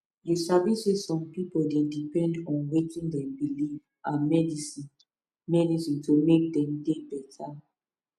you sabi saysome pipu dey depend on wetin dem believe and medicine medicine to make dem dey beta